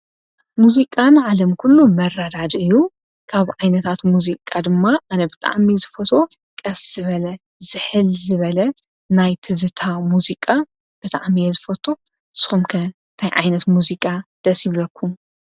ሙዙቃ ንዓለም ኲሉ መረዳድኢ እዩ፡፡ ካብ ዓይነታት ሙዚቃ ድማ ኣነ ብጣዕሚ ዝፈትዎ ቀስ ዝበለ ዝሕል ዝበለ ናይ ትዝታ ሙዙቃ ብጣዕሚ እየ ዝፈቱ ንስኹም ከ ታይ ዓይነት ሙዚቃ ደስ ይብለኩም?